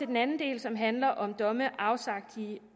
den anden del som handler om domme afsagt